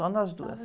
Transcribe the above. Só nós duas.ó...